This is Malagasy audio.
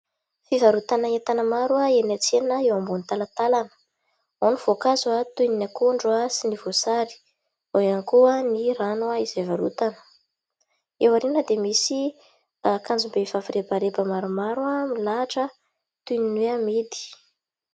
Fivarotana entana maro eny an-tsena eo ambony talantalana : ao ny voankazo toy ny akondro sy ny voasary, ao ihany koa ny rano izay varotana. Eo aoriana dia misy akanjom-behivavy rebareba maromaro toy ny hoe amidy.